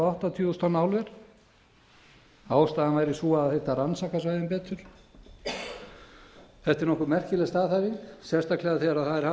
áttatíu þúsund tonna álver ástæðan væri sú að þyrfti að rannsaka svæðin betur þetta er nokkuð merkileg staðhæfing sérstaklega þegar það er haft